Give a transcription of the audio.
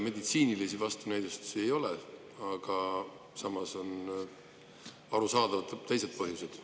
Meditsiinilisi vastunäidustusi ei ole, aga samas on arusaadavalt teised põhjused.